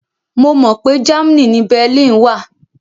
Mo mọ pé Germany ni Berlin wà